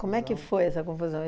Como é que foi essa confusão?